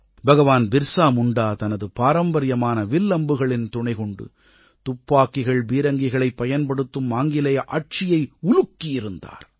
பகவான் பிர்ஸா முண்டா தனது பாரம்பரியமான வில் அம்புகளின் துணை கொண்டு துப்பாக்கிகள் பீரங்கிகளைப் பயன்படுத்தும் ஆங்கிலேய ஆட்சியை உலுக்கியிருந்தார்